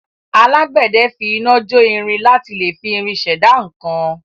Alágbẹ̀dẹ fi iná jo irin láti lẹ fi irin ṣẹ̀dá nǹkan.